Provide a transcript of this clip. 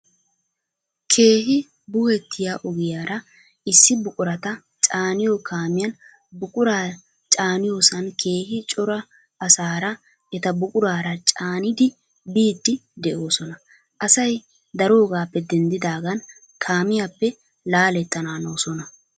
Keehi buhettiyaa ogiyaara issi buqurata caaniyo kaamiyan buquraa caaniyosan keehi cora asaara eta buquraara caanidi biidi de'oosona. Asay daroogappe denddidaagan kaamiyappe laalettananoosona.